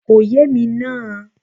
Kò yé èmi náà